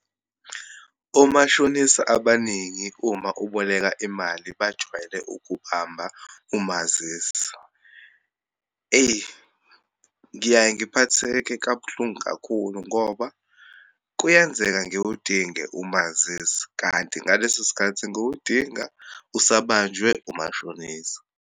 Omashonisa abaningi uma uboleka imali bajwayele ukubamba umazisi. Eyi, ngiyaye ngiphatheke kabuhlungu kakhulu, ngoba kuyenzeka ngiwudinge umazisi, kanti ngaleso sikhathi ngiwudinga usabanjwe umashonisa.